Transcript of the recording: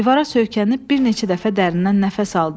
Divara söykənib bir neçə dəfə dərindən nəfəs aldı.